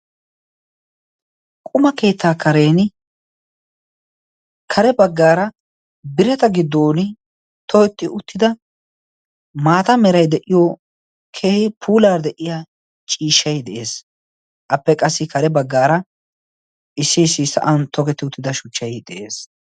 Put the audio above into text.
Quma keettaa karen kare baggaara birata giddon togetti uttida maata merai de'iyo kehe puular de'iya ciishshai de'ees. appe qassi kare baggaara issi issi sa'an togetti uttida shuchchai de'ees.